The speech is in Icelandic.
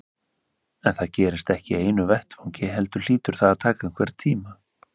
En það gerist ekki í einu vetfangi heldur hlýtur það að taka einhvern tíma.